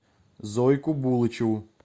зойку булычеву